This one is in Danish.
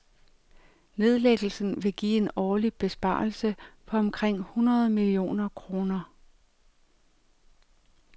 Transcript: Nedlæggelsen vil give en årlig besparelse på omkring hundrede millioner kroner.